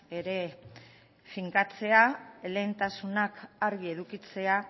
ere finkatzea lehentasunak argi edukitzea